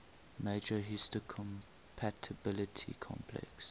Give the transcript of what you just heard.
major histocompatibility complex